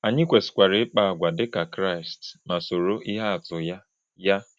Anyị kwesịkwara ịkpa àgwà dịka Kraịst ma soro ihe atụ ya. ya.